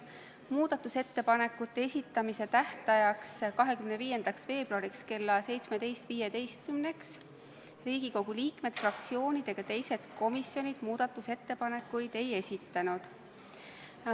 Muudatusettepanekute esitamise tähtajaks, 25. veebruariks kella 17.15-ks Riigikogu liikmed, fraktsioonid ega teised komisjonid muudatusettepanekuid ei esitanud.